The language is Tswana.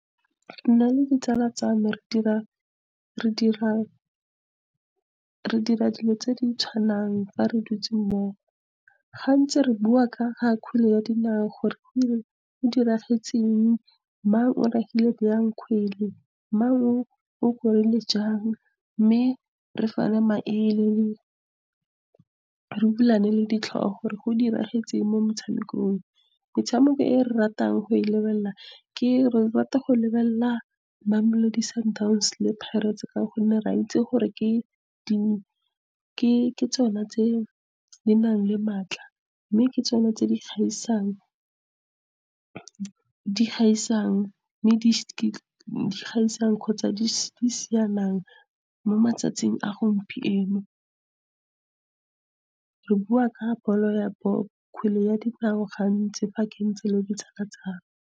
Nna le ditsala tsa me re dira dilo tse di tshwanang fa re dutse mmogo. Gantsi re bua ka ga kgwele ya dinao gore go diragetseng, mang o ragile jang kgwele, mang o korile jang, mme re fana maele. Re bulane le ditlhogo gore go diragetseng mo motshamekong. Metshameko e re ratang go e lebelela re rata go lebelela Mamelodi Sundowns le Pirates ka gonne re a itsi gore ke tsona tse dinang le maatla, mme ke tsona tse di kgotsa di mo matsatsing a gompieno. Re bua ka kgwele gantsi fa ke ntse le ditsala tsaka.